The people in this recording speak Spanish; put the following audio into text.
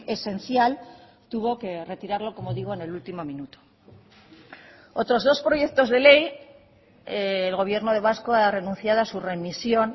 esencial tuvo que retirarlo como digo en el último minuto otros dos proyectos de ley el gobierno vasco ha renunciado a su remisión